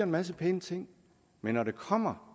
masse pæne ting men når det kommer